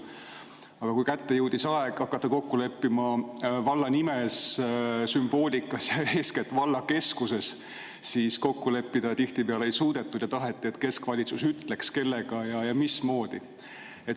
Aga kui kätte jõudis aeg hakata kokku leppima valla nimes, sümboolikas ja eeskätt valla keskuses, siis kokku leppida tihtipeale ei suudetud ja taheti, et keskvalitsus ütleks, kellega ja mismoodi.